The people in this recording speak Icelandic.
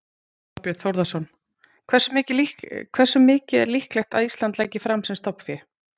Þorbjörn Þórðarson: Hversu mikið er líklegt að Ísland leggi fram sem stofnfé?